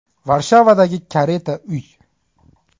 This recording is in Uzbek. Varshavadagi kareta uy.